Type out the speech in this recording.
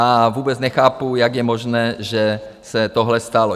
A vůbec nechápu, jak je možné, že se tohle stalo.